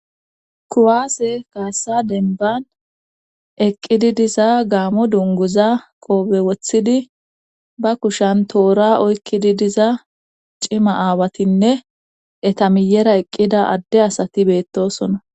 kuwaase kaassa demban eqqidi diza gaamo dunguza koobe woththidi ba kushan toora oykkidi diza cima aawatinne eta miyera eqqida adde asati beettosona